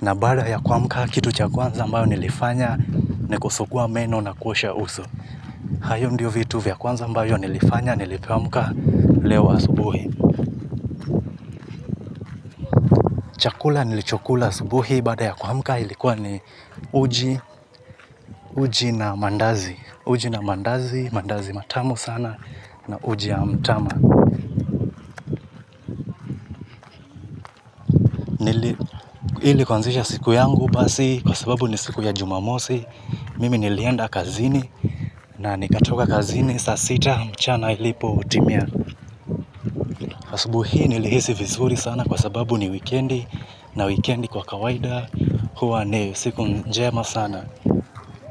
na baada ya kuamka kitu cha kuanza mbao nilifanya nikusukua meno na kuosha uso. Hayo ndiyo vitu vya kwanza ambao nilifanya nilipoamka leo asubuhi. Chakula nilichokula asubuhi baada ya kuamka ilikuwa ni uji na mandazi. Uji na mandazi, mandazi matamu sana na uji ya mtama. Hili kuanzisha siku yangu basi kwa sababu ni siku ya jumamosi. Mimi nilienda kazini na nikatoka kazini saa sita mchana ilipo utimia asubu hii nilihesi vizuri sana kwa sababu ni wikendi na wikendi kwa kawaida hua ni siku njema sana.